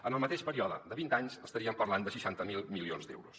en el mateix període de vint anys estaríem parlant de seixanta miler milions d’euros